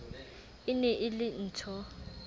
e ne e le nthho